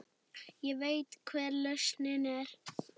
Ég veit hver lausnin er.